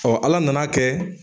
Ala nana kɛ